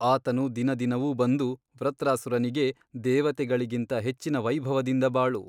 ಆತನು ದಿನದಿನವೂ ಬಂದು ವೃತ್ರಾಸುರನಿಗೆ ದೇವತೆಗಳಿಗಿಂತ ಹೆಚ್ಚಿನ ವೈಭವದಿಂದ ಬಾಳು.